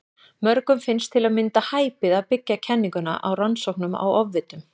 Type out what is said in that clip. Mörgum finnst til að mynda hæpið að byggja kenninguna á rannsóknum á ofvitum.